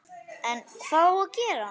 En hvað á að gera?